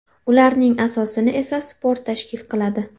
Ularning asosini esa sport tashkil qiladi.